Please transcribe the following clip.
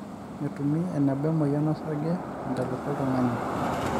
metumi eneba emoyian osarge te ntalepa oltungani